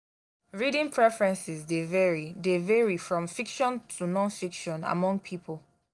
reading preferences dey vary dey vary from fiction to non-fiction among people.